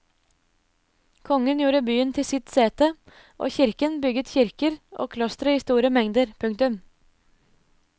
Kongen gjorde byen til sitt sete og kirken bygget kirker og klostre i store mengder. punktum